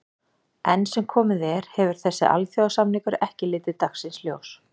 Enn sem komið er hefur þessi alþjóðasamningur ekki litið dagsins ljós.